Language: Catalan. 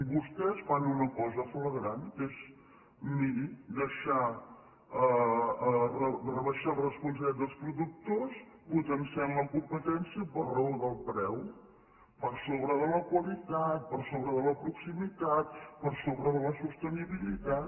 vostès fan una cosa flagrant que és miri rebaixar la responsabilitat dels productors potenciant la competència per raó del preu per sobre de la qualitat per sobre de la proximitat per sobre de la sostenibilitat